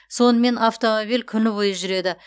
сонымен автомобиль күні бойы жүреді